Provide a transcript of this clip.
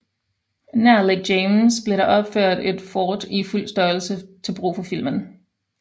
Nær Lake James blev der opført et fort i fuld størrelse til brug for filmen